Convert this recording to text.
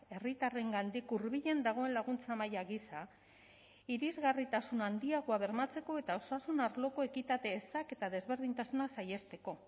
herritarrengandik hurbilen dagoen laguntza maila gisa irisgarritasun handiagoa bermatzeko eta osasun arloko ekitate ezak eta desberdintasunak saihesteko